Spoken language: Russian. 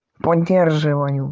поддерживаю